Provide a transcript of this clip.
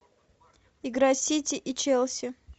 игра сити и челси